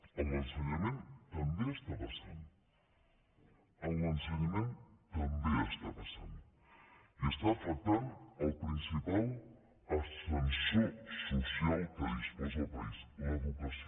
en l’ensenyament també està passant en l’ensenyament també està passant i està afectant el principal ascensor social de què disposa el país l’educació